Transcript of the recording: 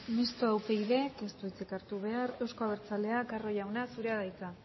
mistoa upyd ez du hitzik hartu behar euzko abertzaleak carro jauna zurea da hitza